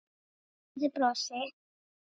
Og breiðu brosi.